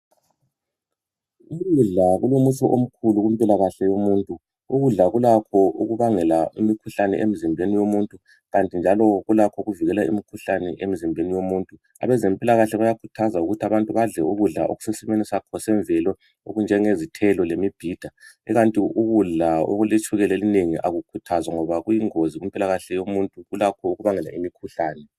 Ukudla kulomutsho omkhulu kumoilakahle yomuntu. Ukudla kulakho ukubangela imikhuhlane emzimbeni womuntu kanti kulakho ukuyivikela njalo. Abezempilakahle bayakhuthaza abantu ukuthi badlel ukudla okusesimeni sakho yemvele okunjengezithelo lemibhida ikanti ukudla okuletshukela elinengi akukhuthazwa ngoba kuyingozi kumpilakhale yomuntu kulakho ukubangela imikhuhlane.